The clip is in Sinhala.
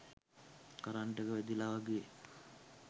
කරන්ට් එක වැදිලා වගේ